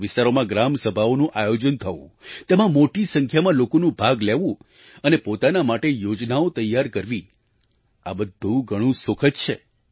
તે વિસ્તારોમાં ગ્રામ સભાઓનું આયોજન થવું તેમાં મોટી સંખ્યામાં લોકોનું ભાગ લેવું અને પોતાના માટે યોજનાઓ તૈયાર કરવી આ બધું ઘણું સુખદ છે